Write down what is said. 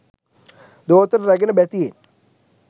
දෝතට රැගෙන බැතියෙන්